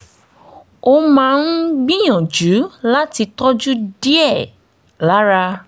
mo máa ń gbìyànjú láti tọ́jú díẹ̀ lára